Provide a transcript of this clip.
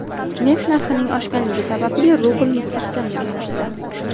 Neft narxining oshganligi tufayli rubl mustahkamlanmoqda.